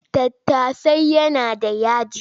Tattasan yana da yaji.